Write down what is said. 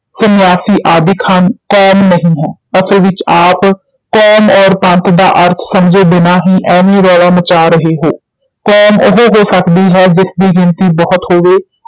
ਸੰਨਿਆਸੀ ਆਦਿਕ ਹਨ, ਕੌਮ ਨਹੀਂ ਹੈ, ਅਸਲ ਵਿਚ ਆਪ ਕੌਮ ਔਰ ਪੰਥ ਦਾ ਅਰਥ ਸਮਝੇ ਬਿਨਾ ਹੀ ਐਵੇਂ ਰੌਲਾ ਮਚਾ ਰਹੇ ਹੋ, ਕੌਮ ਉਹ ਹੋ ਸਕਦੀ ਹੈ, ਜਿਸ ਦੀ ਗਿਣਤੀ ਬਹੁਤ ਹੋਵੇ।